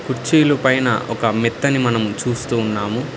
కుర్చీలు పైన ఒక మెత్తని మనము చూస్తూ ఉన్నాము.